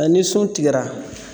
Ɛɛ ni sun tigɛra